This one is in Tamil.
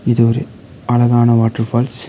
இது ஒரு அழகான வாட்டர் ஃபால்ஸ் .